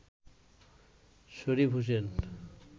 Sharif Hossain